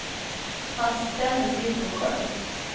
Han ställde sig upp och sjöng.